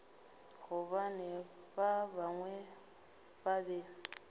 gobane ba bangwe ba be